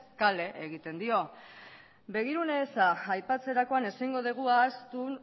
kale egiten dio begirunez aipatzerakoan ezingo dugu ahaztu